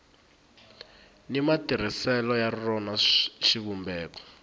ni matirhiselo ya rona xivumbeko